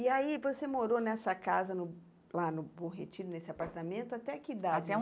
E aí você morou nessa casa, no lá no Bom Retiro, nesse apartamento, até que idade? Até